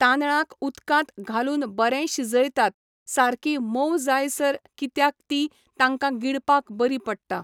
तांदळांक उदकांत घालून बरें शिजयतात, सारकी मोव जाय सर कित्याक ती तांकां गिळपाक बरी पडटा.